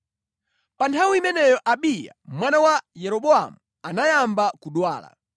Pa nthawi imeneyo Abiya mwana wa Yeroboamu anayamba kudwala,